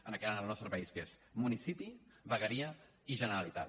en el nostre país que és municipi vegueria i generalitat